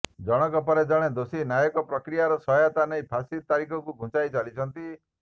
ଜଣକ ପରେ ଜଣେ ଦୋଷୀ ନ୍ୟାୟିକ ପ୍ରକ୍ରିୟାର ସହାୟତା ନେଇ ଫାଶୀ ତାରିଖକୁ ଘୁଞ୍ଚାଇ ଚାଲିଛନ୍ତି